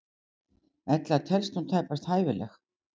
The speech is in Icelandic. Ella telst hún tæpast hæfileg.